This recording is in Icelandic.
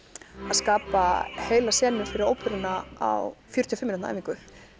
skapa heila senu fyrir óperuna á fjörutíu og fimm mínútna æfingu